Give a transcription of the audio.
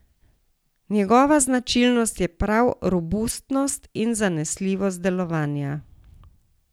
Njegova značilnost je prav robustnost in zanesljivost delovanja.